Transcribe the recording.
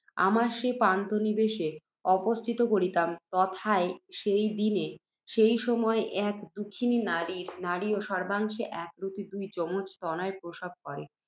আমরা সে পান্থনিবাসে অবস্থিতি করিতাম, তথায় সেই দিনে সেই সময়ে এক দুঃখিনী নারীও সর্ব্বাংশে একাকৃতি দুই যমজ তনয় প্রসব করে।